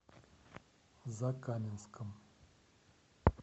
закаменском